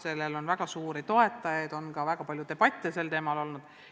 Sellel on väga suuri toetajaid olnud ja sel teemal on ka väga palju debatte peetud.